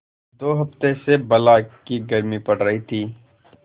दो हफ्ते से बला की गर्मी पड़ रही थी